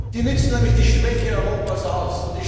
Die nützen nämlich die Schwäche Europas aus.